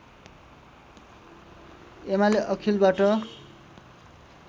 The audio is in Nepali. एमाले अखिलबाट